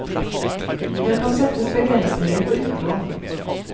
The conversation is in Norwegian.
Det kan settes begrensninger på utlån.